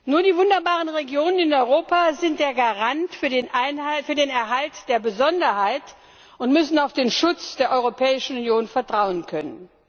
Nur die wunderbaren Regionen in Europa sind der Garant für den Erhalt der Besonderheit und müssen auf den Schutz der Europäischen Union vertrauen können.